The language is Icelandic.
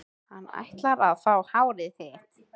Hann ætlar að fá hárið þitt.